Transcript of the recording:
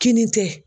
Kinin tɛ